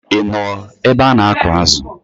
Ị nọ ebe a na-akụ̀ azụ̀?